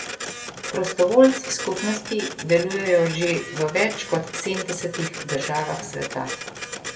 Prostovoljci skupnosti delujejo že v več kot sedemdesetih državah sveta.